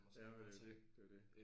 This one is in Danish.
Jamen det er jo det. Det er jo det